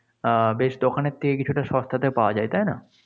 আহ বেশ দোকানের থেকে কিছুটা সস্তাতে পাওয়া যায়, তাই না?